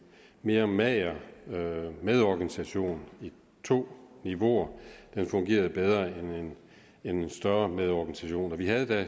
mere mager med organisation i to niveauer fungerede bedre end en større med organisation og vi havde da